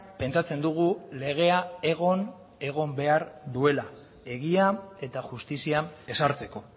pentsatzen dugu legea egon egon behar duela egia eta justizia ezartzeko